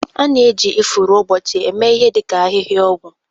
A na-eji ifuru ụbọchị eme ihe dị ka ahịhịa ọgwụ